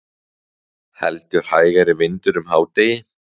Heldur hægari vindur um hádegi